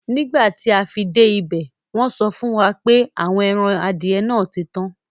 Nígbàtí afi dẹ́ ibẹ̀, wọ́nsọ fúnwà pé àwọn èran adìẹ̀ náà títan.